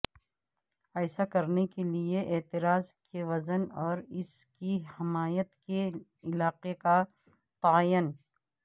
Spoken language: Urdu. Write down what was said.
ایسا کرنے کے لئے اعتراض کے وزن اور اس کی حمایت کے علاقے کا تعین